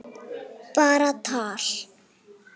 Bara tal.